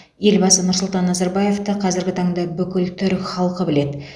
елбасы нұрсұлтан назарбаевты қазіргі таңда бүкіл түрік халқы біледі